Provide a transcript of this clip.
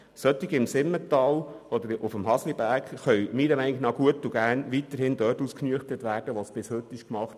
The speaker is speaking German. Fälle im Simmental oder auf dem Hasliberg können logischerweise weiterhin dort ausgenüchtert werden, wo es bis heute geschieht.